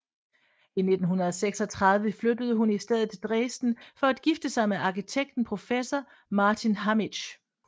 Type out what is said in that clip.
I 1936 flyttede hun i stedet til Dresden for at gifte sig med arkitekten professor Martin Hammitzsch